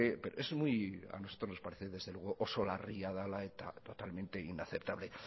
es oso larria y totalmente inaceptable